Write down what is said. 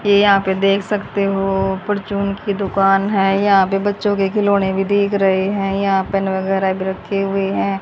ये यहां पे देख सकते हो परचून की दुकान है यहां पे बच्चों के खिलौने भी दिख रहे हैं यहां पेन वगैरह भी रखे हुए हैं।